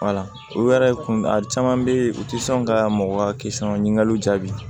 u yɛrɛ kun a caman bɛ yen u tɛ sɔn ka mɔgɔ kisi ka ɲininkaliw jaabi